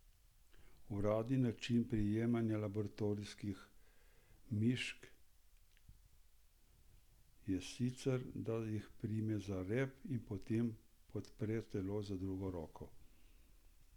Uradni način prijemanja laboratorijskih mišk je sicer, da se jih prime za rep in potem podpre telo z drugo roko.